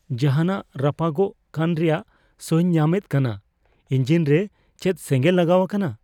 ᱡᱟᱦᱟᱱᱟᱜ ᱨᱟᱯᱟᱜᱚᱜ ᱠᱟᱱ ᱨᱮᱭᱟᱜ ᱥᱚᱧ ᱧᱟᱢᱮᱫᱟ ᱠᱟᱱᱟ ᱾ ᱤᱧᱡᱤᱱ ᱨᱮ ᱪᱮᱫ ᱥᱮᱸᱜᱮᱸᱞ ᱞᱟᱜᱟᱣ ᱟᱠᱟᱱᱟ ?